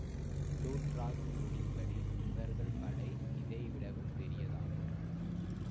Plutarch நூலின்படி இவர்கள் படை இதைவிடவும் பெரியதாகும்